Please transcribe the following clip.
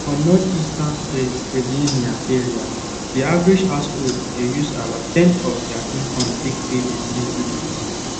for northeastern pennsylvania area the average household dey use about ten of their income take pay utility bills